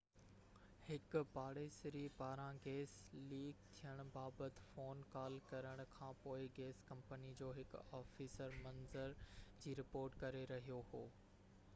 هڪ پاڙيسري پاران گئس ليڪ ٿيڻ بابت فون ڪال ڪرڻ کانپوءِ گئس ڪمپني جو هڪ آفيسر منظر جي رپورٽ ڪري رهيو هو